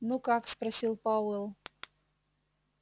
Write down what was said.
ну как спросил пауэлл